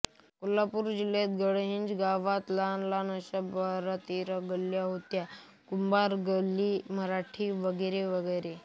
कोल्हापूर जिल्ह्यातील गडहिंग्लज गावात लहान लहान अशा बारातेरा गल्ल्या होत्या कुंभार गल्ली मराठा गल्ली वगैरे